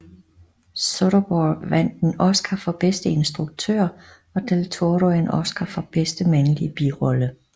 Soderborgh vandt en Oscar for bedste instruktør og del Toro en Oscar for bedste mandlige birolle